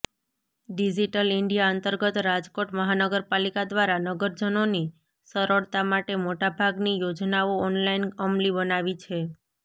digital India અંતર્ગત રાજકોટ મહાનગરપાલીકા દ્વારા નગરજનોની સરળતા માટે મોટાભાગની યોજનાઓ ઓનલાઇન અમલી બનાવી છે